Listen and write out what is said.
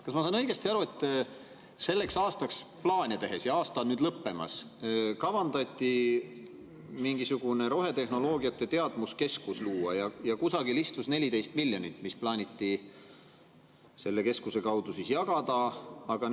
" Kas ma saan õigesti aru, et selleks aastaks plaane tehes – ja aasta on nüüd lõppemas – kavandati mingisugune rohetehnoloogiate teadmuskeskus luua ja kusagil istus 14 miljonit, mis plaaniti selle keskuse kaudu jagada?